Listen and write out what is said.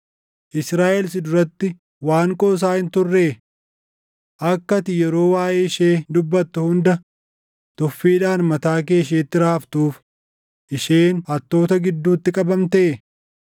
Israaʼel si duratti waan qoosaa hin turree? Akka ati yeroo waaʼee ishee dubbattu hunda tuffiidhaan mataa kee isheetti raaftuuf isheen hattoota gidduutti qabamtee?